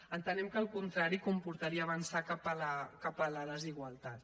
entenem que el contrari comportaria avançar cap a la desigualtat